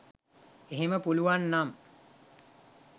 එහෙම පුළුවන් නම්